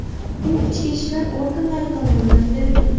U ichki ishlar organlari tomonidan beriladi.